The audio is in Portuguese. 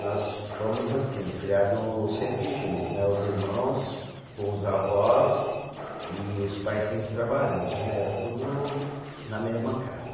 Nós fomos assim, criado sempre junto, os irmãos com os avós e os pais sempre trabalhando né, era tudo na mesma casa.